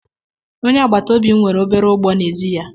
Onye agbata obi m nwere obere ugbo n'ezi ya.